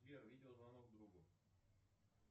сбер видеозвонок другу